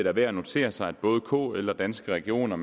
er værd at notere sig at både kl og danske regioner